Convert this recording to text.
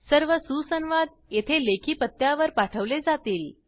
सर्व सुसंवाद येथे लेखी पत्त्यावर पाठवले जातील